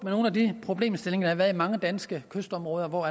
nogle af de problemstillinger der har været i mange danske kystområder hvor